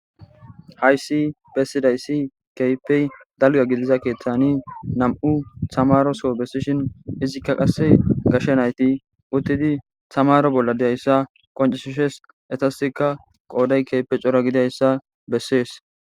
Hayssi bessizayssi keehippe dalgga gidiza keeththani nam7u thamaaroso bessishin izikka qassi gashe na7ithi uththidi thamaaro bolla de7issa qonccissi des; ethassikka qooday keehi cora gidayssa bessees.